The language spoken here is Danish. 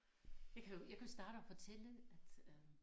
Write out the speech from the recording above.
Jeg kan jo jeg kan jo starte og fortælle at øh